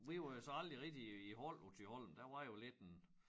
Vi var jo så aldrig rigtig i hold på Thyholm der var jo lidt en